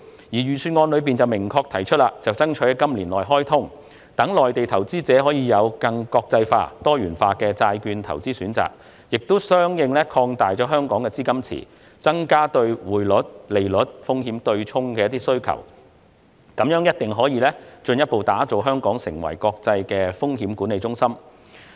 預算案明確提出爭取"南向通"在今年內開通，讓內地投資者可以有更國際化、多元化的債券投資選擇，同時相應擴大香港市場的資金池，增加匯率及利率風險對沖的需求，這樣定必可將香港進一步打造為國際風險管理中心。